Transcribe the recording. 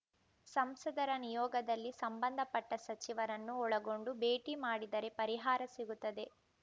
ಸಂಸದರ ನಿಯೋಗದಲ್ಲಿ ಸಂಬಂಧಪಟ್ಟ ಸಚಿವರನ್ನೂ ಒಳಗೊಂಡು ಭೇಟಿ ಮಾಡಿದರೆ ಪರಿಹಾರ ಸಿಗುತ್ತದೆ